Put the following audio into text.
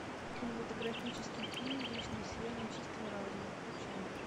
кинематографический фильм вечное сияние чистого разума включай